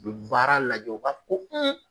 U bi baara lajɛ u ba fɔ ko